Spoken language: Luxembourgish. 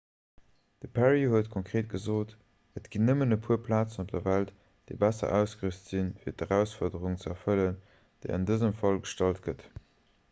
de perry huet konkreet gesot et ginn nëmmen e puer plazen op der welt déi besser ausgerüst sinn fir d'erausfuerderung ze erfëllen déi an dësem fall gestallt gëtt